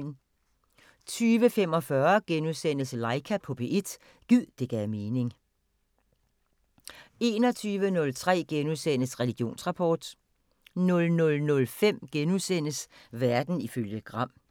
20:45: Laika på P1 – gid det gav mening * 21:03: Religionsrapport * 00:05: Verden ifølge Gram *